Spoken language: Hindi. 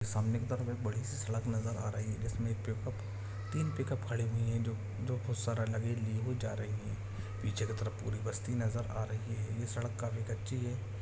--सामने की तरफ एक बड़ी सी सड़क नज़र आ रही है जिसमे एक पिक उप तीन पिक उप खड़े हुए है ज जो कुछ सारा लगेज लिए हुए जा रही है पीछे की तरफ पूरी बस्ती नज़र आ रही है ये सड़क काफी कच्ची है।